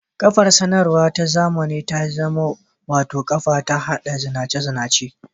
Kafar-sadarwa ta zamani ta zama wata kafa ta haɗa zinace-zinace.